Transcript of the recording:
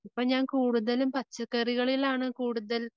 ഇപ്പ ഞാൻ കൂടുതലും പച്ചക്കറികളിലാണ്